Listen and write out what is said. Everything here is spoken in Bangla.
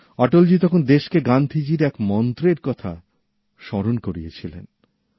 অটলজী তখন দেশকে গান্ধীজির এক মন্ত্রের কথা স্মরণ করিয়েছিলেন